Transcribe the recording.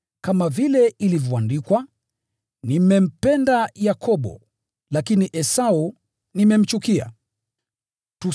Kama vile ilivyoandikwa, “Nimempenda Yakobo, lakini nimemchukia Esau.”